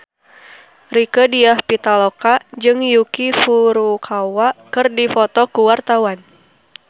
Rieke Diah Pitaloka jeung Yuki Furukawa keur dipoto ku wartawan